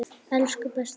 Elsku besti afi.